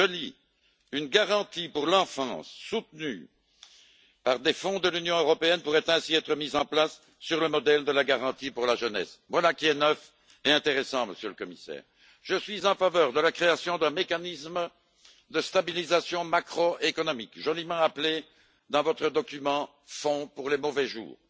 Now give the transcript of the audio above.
Je lis Une garantie pour l'enfance, soutenue par des fonds de l'Union européenne, pourrait ainsi être mise en place sur le modèle de la garantie pour la jeunesse. Voilà qui est neuf et intéressant, Monsieur le Commissaire. Je suis en faveur de la création d'un mécanisme de stabilisation macroéconomique, joliment appelé dans votre document fonds pour les mauvais jours.